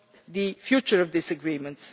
the future of this agreement.